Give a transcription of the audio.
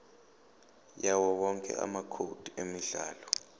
yawowonke amacode emidlalo